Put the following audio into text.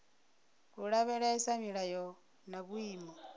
u lavhelesa milayo na vhuimo